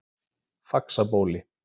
Faxabóli